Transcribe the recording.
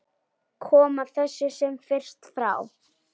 Koma þessu sem fyrst frá.